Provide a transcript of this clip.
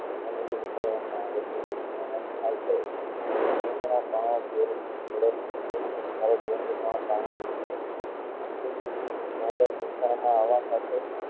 આવા માં આવે છે જે ખાય છે